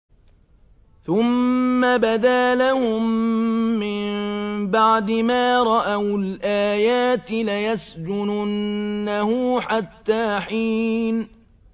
ثُمَّ بَدَا لَهُم مِّن بَعْدِ مَا رَأَوُا الْآيَاتِ لَيَسْجُنُنَّهُ حَتَّىٰ حِينٍ